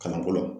Kalanko la